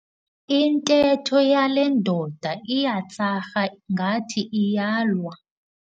Intetho yale ndoda iyatsarha ngathi iyalwa.